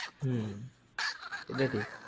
হু এটা ঠিক